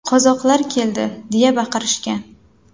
Qozoqlar keldi!” deya baqirishgan.